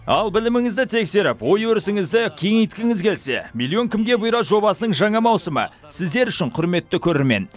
ал біліміңізді тексеріп ой өрісіңізді кеңейткіңіз келсе миллион кімге бұйырады жобасының жаңа маусымы сіздер үшін құрметті көрермен